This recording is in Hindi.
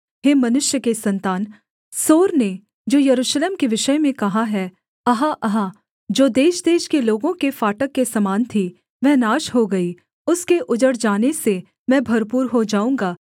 हे मनुष्य के सन्तान सोर ने जो यरूशलेम के विषय में कहा है अहा अहा जो देशदेश के लोगों के फाटक के समान थी वह नाश हो गई उसके उजड़ जाने से मैं भरपूर हो जाऊँगा